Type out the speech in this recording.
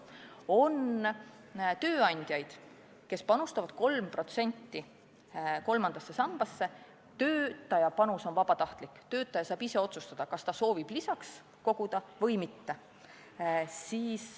On tööandjaid, kes panustavad 3% kolmandasse sambasse, töötaja panus on vabatahtlik, töötaja saab ise otsustada, kas ta soovib lisaks koguda või mitte.